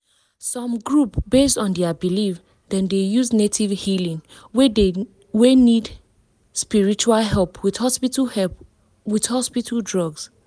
some groups based on their belief dem dey use native healing wey need spiritual help with hospital help with hospital drug.